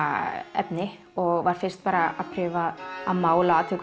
efni og var fyrst að prufa að mála og